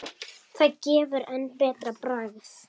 Það gefur enn betra bragð.